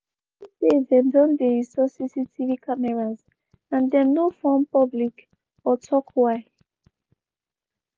we notice say dem don dey install cctv cameras and dem no form public or tok why.